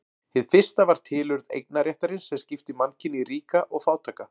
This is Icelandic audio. Hið fyrsta var tilurð eignarréttarins sem skipti mannkyni í ríka og fátæka.